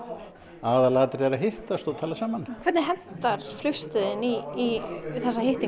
aðalatriðið að hittast og tala saman hvernig hentar flugstöðin í þessa